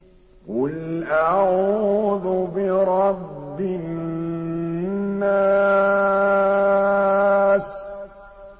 قُلْ أَعُوذُ بِرَبِّ النَّاسِ